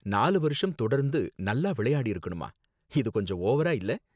நாலு வருஷம் தொடர்ந்து நல்லா விளையாடியிருக்கணுமா? இது கொஞ்சம் ஓவரா இல்ல